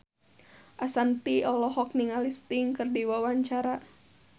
Ashanti olohok ningali Sting keur diwawancara